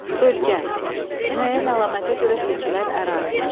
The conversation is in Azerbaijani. Bölgə, müəyyən əlamətə görə seçilən ərazi.